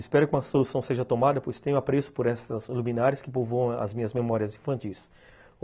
Espero que uma solução seja tomada, pois tenho apreço por essas luminárias que povoam as minhas memórias infantis.